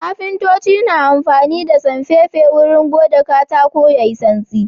Kafintoci na amfani da sanfefe wurin gode katako yayi santsi.